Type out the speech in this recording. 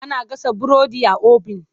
Ana gasa burodi a obin.